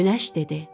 Günəş dedi: